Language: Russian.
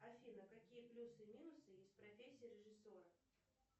афина какие плюсы и минусы есть в профессии режиссера